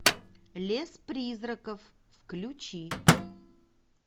лес призраков включи